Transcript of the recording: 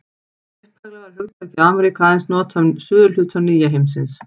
Upphaflega var hugtakið Ameríka aðeins notað um suðurhluta nýja heimsins.